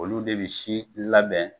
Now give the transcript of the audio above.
Olu de bi si labɛn